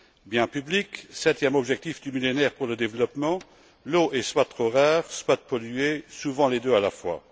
Bien public, septième objectif du Millénaire pour le développement, l'eau est soit trop rare, soit polluée, souvent les deux à la fois.